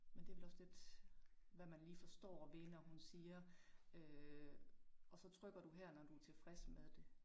Men det vel også lidt hvad man lige forstår ved når hun siger øh og så trykker du her, når du tilfreds med det